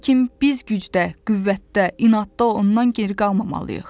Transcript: Lakin biz gücdə, qüvvətdə, inadda ondan geri qalmamalıyıq.